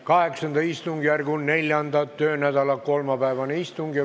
VIII istungjärgu 4. töönädala kolmapäevane istung.